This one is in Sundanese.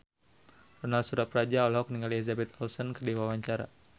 Ronal Surapradja olohok ningali Elizabeth Olsen keur diwawancara